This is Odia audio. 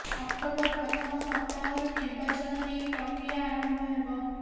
ଅକ୍ଟୋବର ପ୍ରଥମ ସପ୍ତାହରୁ ନିର୍ବର୍ାଚନ ନେଇ ପ୍ରକ୍ରିୟା ଆରମ୍ଭ ହେବ